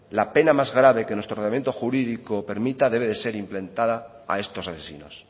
la pena más grave que nuestro ordenamiento jurídico permita debe ser implementada a estos asesinos